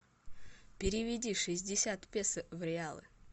переведи шестьдесят песо в реалы